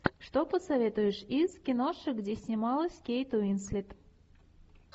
что посоветуешь из киношек где снималась кейт уинслет